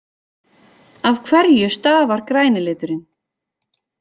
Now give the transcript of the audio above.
Af hverju stafar græni liturinn?